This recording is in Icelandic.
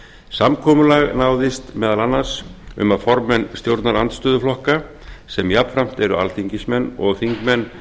samkomulag náðist meðal annars um að formenn stjórnarandstöðuflokka sem jafnframt eru alþingismenn og þingmenn